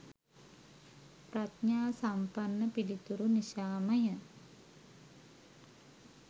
ප්‍රඥා සම්පන්න පිළිතුරු නිසා ම ය.